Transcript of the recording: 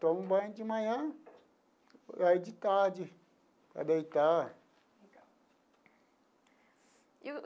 Tomo banho de manhã e aí de tarde, para deitar.